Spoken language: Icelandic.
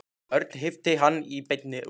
Örn hnippti í hann og benti út.